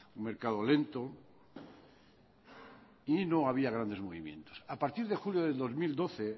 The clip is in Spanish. un mercado lento y no había grandes movimientos a partir de julio de dos mil doce